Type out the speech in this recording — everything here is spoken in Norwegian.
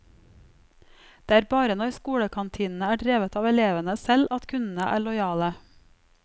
Det er bare når skolekantinene er drevet av elevene selv at kundene er lojale.